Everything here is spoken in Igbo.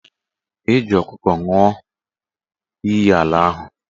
E ji ọkụkọ nwụọ iyi ala ahụ